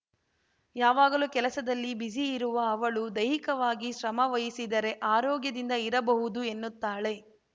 ಯಾವಾಗಲೂ ಕೆಲಸದಲ್ಲಿ ಬಿಜಿ ಇರುವ ಅವಳು ದೈಹಿಕವಾಗಿ ಶ್ರಮವಹಿಸಿದರೆ ಆರೋಗ್ಯದಿಂದ ಇರಬಹುದು ಎನ್ನುತ್ತಾಳೆ